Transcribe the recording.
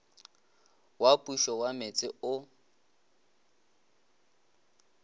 wa pušo wa metse o